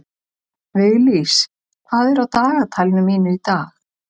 Viglís, hvað er á dagatalinu mínu í dag?